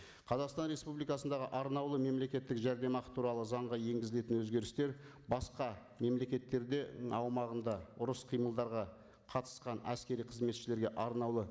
қазақстан республикасындағы арнаулы мемлекеттік жәрдемақы туралы заңға енгізілетін өзгерістер басқа мемлекеттерде аумағында ұрыс қимылдарға қатысқан әскери қызметшілерге арнаулы